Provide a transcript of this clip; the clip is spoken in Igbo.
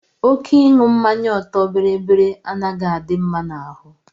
Oké ịṅụ mmanya ọtọ biribiri anaghị adị mma n'ahụ.